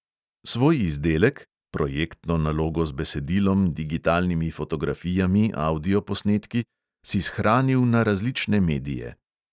Svoj izdelek (projektno nalogo z besedilom, digitalnimi fotografijami, avdioposnetki …) si shranil na različne medije.